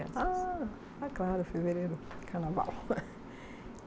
Ah, ah, claro, fevereiro, carnaval.